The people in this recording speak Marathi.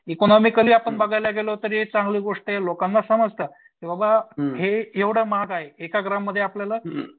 इकोनॉमिकली आपण बघायला गेलो तरी चांगली गोष्ट आहे लोकांना समजतं की बाबा हे एवढं महाग आहे. एका ग्राममध्ये आपल्याला